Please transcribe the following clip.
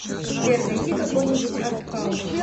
сбер найди какой нибудь артхаус